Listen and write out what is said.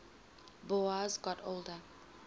boas got older